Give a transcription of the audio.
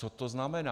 Co to znamená?